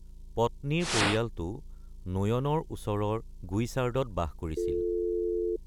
পত্নীৰ পৰিয়ালটো নোয়নৰ ওচৰৰ গুইচাৰ্ডত বাস কৰিছিল।